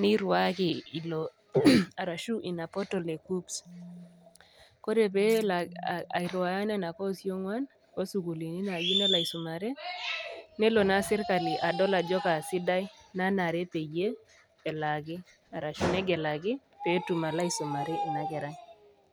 niriwaki ilo arashu ina portal e kuccps ore pelo airiwaa nona koosi ongwan nelo na serkali adol ajo kaesidai pelaaki arashu negelaki petum alaisumare inakerai.